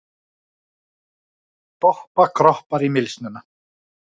Doppa kroppar í mylsnuna.